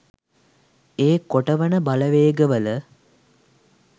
ඒ කොටවන බලවේග වල